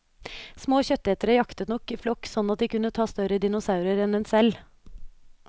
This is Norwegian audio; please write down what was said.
Små kjøttetere jaktet nok i flokk sånn at de kunne ta større dinosaurer en seg selv.